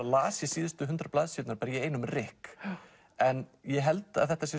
las síðustu hundrað blaðsíðurnar í einum rykk en ég held að þetta sé